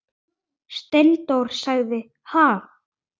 Steindór sagði: Ha?